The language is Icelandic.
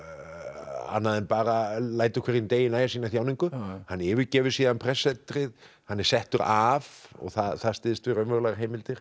annað en bara lætur hverjum degi nægja sína þjáningu hann yfirgefur síðan prestssetrið hann er settur af og það styðst við raunverulegar heimildir